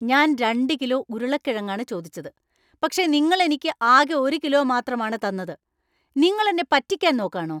ഞാൻ രണ്ട് കിലോ ഉരുളക്കിഴങ്ങാണ് ചോദിച്ചത്, പക്ഷേ നിങ്ങൾ എനിക്ക് ആകെ ഒരു കിലോ മാത്രമാണ് തന്നത്! നിങ്ങൾ എന്നെ പറ്റിയ്ക്കാൻ നോക്കാണോ ?